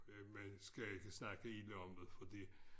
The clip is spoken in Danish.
Man skal ikke snakke ilde om det fordi